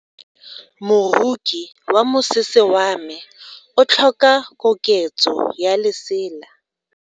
Moroki wa mosese wa me o tlhoka koketso ya lesela.